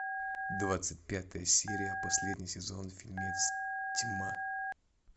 двадцать пятая серия последний сезон фильмец тьма